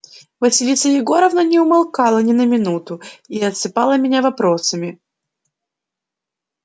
василиса егоровна не умолкала ни на минуту и осыпала меня вопросами